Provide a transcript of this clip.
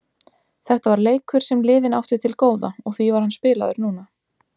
Þetta var leikur sem liðin áttu til góða og því var hann spilaður núna.